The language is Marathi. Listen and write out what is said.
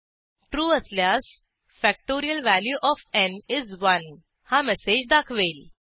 ट्रू असल्यास factorial value O F N is 1 हा मेसेज दाखवेल